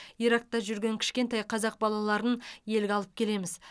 иракта жүрген кішкентай қазақ балаларын елге алып келеміз